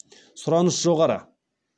сұраныс жоғары